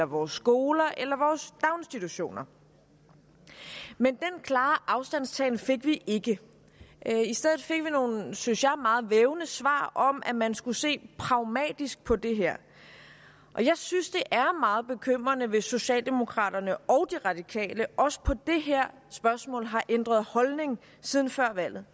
vores skoler eller daginstitutioner men den klare afstandtagen fik vi ikke i stedet fik vi nogle synes jeg meget vævende svar om at man skulle se pragmatisk på det her jeg synes det er meget bekymrende hvis socialdemokraterne og de radikale også i det her spørgsmål har ændret holdning siden før valget